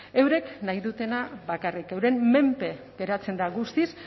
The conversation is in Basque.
eurek nahi dutena bakarrik euren menpe geratzen da guztiz